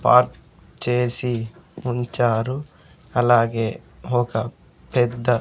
park చేసి ఉంచారు అలాగే ఒక పెద్ద--